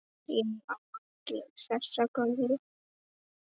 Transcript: Ég á ekki þessa gömlu.